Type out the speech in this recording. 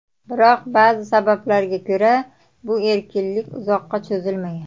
Biroq ba’zi sabablarga ko‘ra, bu erkinlik uzoqqa cho‘zilmagan.